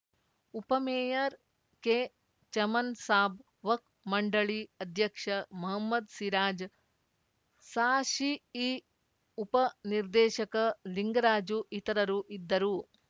ಉಪಮೇಯರ್‌ ಕೆಚಮನ್‌ಸಾಬ್‌ ವಕ್ಫ್ ಮಂಡಳಿ ಅಧ್ಯಕ್ಷ ಮಹ್ಮದ್‌ ಸಿರಾಜ್‌ ಸಾಶಿಇ ಉಪ ನಿರ್ದೇಶಕ ಲಿಂಗರಾಜು ಇತರರು ಇದ್ದರು